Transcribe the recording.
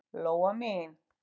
Lóa mín.